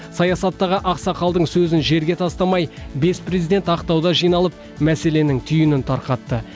саясаттағы ақсақалдың сөзін жерге тастамай бес президент ақтауда жиналып мәселенің түйінін тарқатты